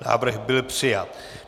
Návrh byl přijat.